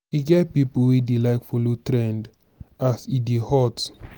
e get pipo wey dey like follow trend as e dey hot